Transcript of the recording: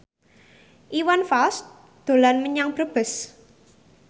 Iwan Fals dolan menyang Brebes